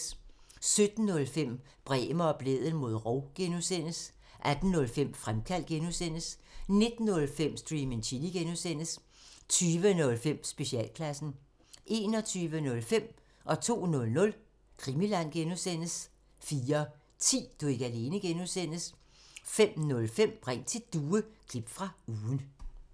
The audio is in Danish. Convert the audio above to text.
17:05: Bremer og Blædel mod rov (G) 18:05: Fremkaldt (G) 19:05: Stream and Chill (G) 20:05: Specialklassen 21:05: Krimiland (G) 02:00: Krimiland (G) 04:10: Du er ikke alene (G) 05:05: Ring til Due – klip fra ugen